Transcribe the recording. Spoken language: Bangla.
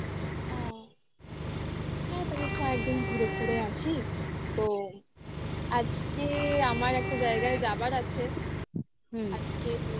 আ হ্যাঁ তাহলে কয়েকদিন ঘুরে ঘুরে আসি তো আজকে আমার একটা জায়গায় যাবার আছে.